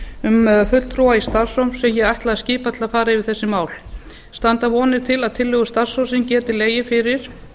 um fulltrúa í starfshóp sem ég ætla að skipa til að fara yfir þessi mál standa vonir til að tillögur starfshópsins geti legið fyrir